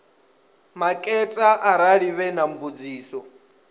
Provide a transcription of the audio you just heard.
maketa arali vhe na mbudziso